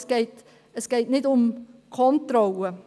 Es geht jedoch nicht um Kontrolle.